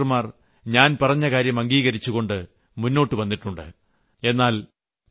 ആയിരക്കണക്കിന് ഡോക്ടർമാർ ഞാൻ പറഞ്ഞകാര്യം അംഗീകരിച്ചുകൊണ്ട് മുന്നോട്ടുവന്നിട്ടുണ്ട്